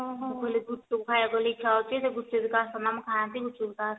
ମତେ ଖାଲି ଗୁପ୍ଚୁପ ଖାଇବାକୁ ଇଚ୍ଛା ହଉଛି ସେ ଗୁପ୍ଚୁପ ବାଲା ଆସନ୍ତା ମୁଁ ଖାଆନ୍ତି ନି ଗୁପ୍ଚୁପ ଟା